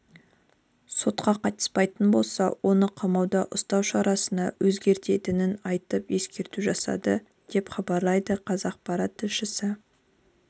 сотқа қатыспайтын болса оны қамауда ұстау шарасына өзгертетінін айтып ескерту жасады деп хабарлайды қазақпарат тілшісі